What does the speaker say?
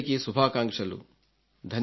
మీకందరికీ శుభాకాంక్షలు